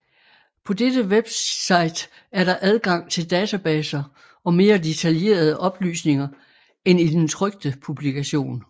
På dette website er der adgang til databaser og mere detaljerede oplysninger end i den trykte publikation